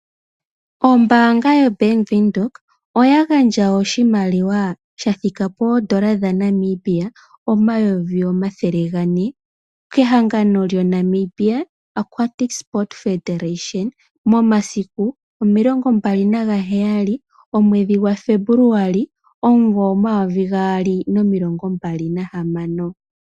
Ombaanga yobank Windhoek oya gandja oshimaliwa shathika poodolla dhaNamibia omayovi omathele gane kehangano lyoNamibia Aquatic federation, momasiku omilongo mbali nagaheyali omwedhi gaFebuluwali omuvo omayovi gaali nomilongo mbali nahamano.